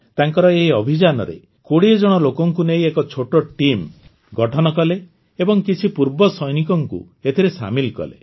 ତାଙ୍କର ଏହି ଅଭିଯାନରେ ୨୦ଜଣ ଲୋକଙ୍କୁ ନେଇ ଏକ ଛୋଟ ଟିମ୍ ଗଠନ କଲେ ଏବଂ କିଛି ପୂର୍ବ ସୈନିକଙ୍କୁ ଏଥିରେ ସାମିଲ କଲେ